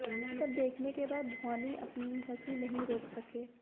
ये सब देखने के बाद धौनी अपनी हंसी नहीं रोक सके